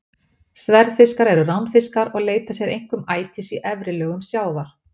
Sverðfiskar eru ránfiskar og leita sér einkum ætis í efri lögum sjávar.